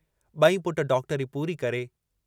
बई पुट डॉक्टरी पूरी करे